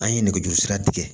An ye nɛgɛjuru sira tigɛ